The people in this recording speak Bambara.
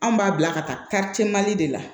Anw b'a bila ka taa de la